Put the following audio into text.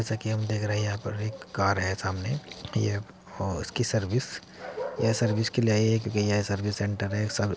जैसा कि हम देख रहे हैं यहां पर एक कार है सामने ये इसकी सर्विस यह सर्विस के लिए आई है क्योंकि यह सर्विस सेंटर है।